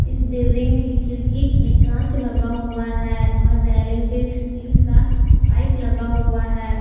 इस बिल्डिंग की खिड़की में कांच लगा हुआ है और रेलिंग पे स्टील का पाइप लगा हुआ है।